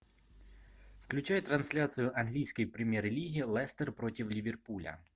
включай трансляцию английской премьер лиги лестер против ливерпуля